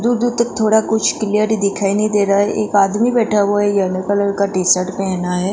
दूर तक थोड़ा कुछ क्लियर दिखाई नहीं दे रहा है एक आदमी बैठा हुआ है येलो कलर का टीशर्ट पहना है।